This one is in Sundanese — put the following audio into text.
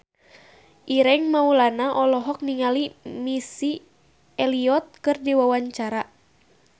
Ireng Maulana olohok ningali Missy Elliott keur diwawancara